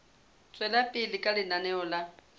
tswela pele ka lenaneo la